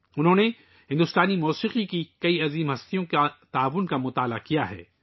انہوں نے بھارتی موسیقی کی بہت سی عظیم شخصیات کے تعاون کا مطالعہ کیا ہے